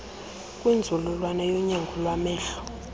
kwinzululwazi yonyango lwamehlo